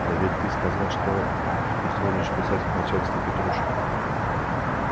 да ведь ты сказал что изволишь писать к начальству петруши